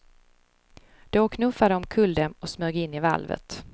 Då knuffade de omkull dem och smög in i valvet.